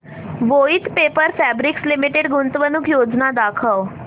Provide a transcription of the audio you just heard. Voith paper fabrics limited गुंतवणूक योजना दाखव